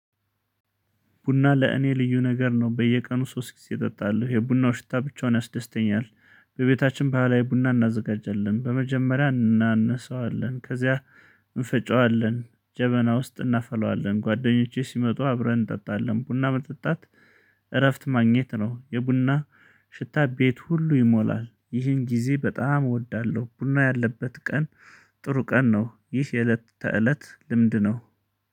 ቡና ለእኔ ልዩ ነገር ነው በየቀኑ ሶስት ጊዜ እጠጣለሁ የቡናው ሽታ ብቻውን ያስደስተኛል። በቤታችን ባህላዊ ቡና እናዘጋጀለን በመጀመሪያ እናነሳዋለን ከዚያ እንፈጨዋለን ጀበና ውስጥ እናፈላዋለን። ጓደኞቼ ሲመጡ አብረን እንጠጣለን ቡና መጠጣት እረፍት ማግኘት ነው። የቡና ሽታ ቤት ሁሉ ይሞላል ይህን ጊዜ በጣም እወዳለው። ቡና ያለበት ቀን ጥሩ ቀን ነው። ይህ የእለት ተእለት ልምድ ነው